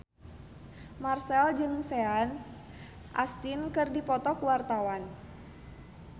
Marchell jeung Sean Astin keur dipoto ku wartawan